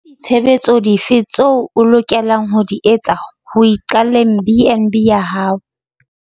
Ke ditshebetso dife tseo o lokelang ho di etsa ho iqalleng BnB ya hao?